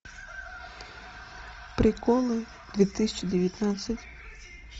приколы две тысячи девятнадцать